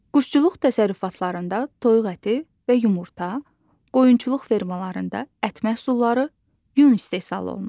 Quşçuluq təsərrüfatlarında toyuq əti və yumurta, qoyunçuluq fermalarında ət məhsulları, yun istehsal olunur.